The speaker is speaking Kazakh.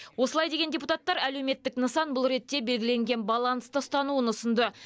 осылай деген депутаттар әлеуметтік нысан бұл ретте белгіленген балансты ұстануын ұсынды